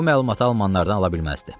O məlumatı almanlardan ala bilməzdi.